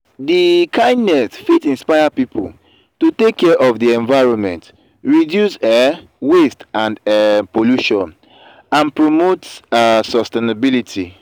di kindness fit inspire people to take care of di environment reduce um waste and um pollution and promote a sustainability.